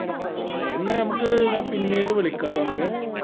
ആ okay നമ്മക്ക് ഞാൻ പിന്നീട് വിളക്കാട്ടൊ അനക്ക്